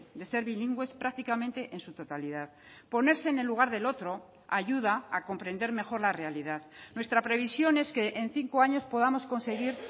de ser bilingües prácticamente en su totalidad ponerse en el lugar del otro ayuda a comprender mejor la realidad nuestra previsión es que en cinco años podamos conseguir